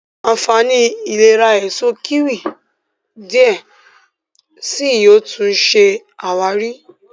ànfàní ìlera Èso kíwì diẹ síi yóò tún ṣe àwárí.